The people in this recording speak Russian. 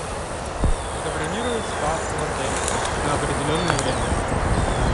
забронировать спа в отеле на определенное время